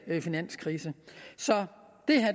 finanskrise så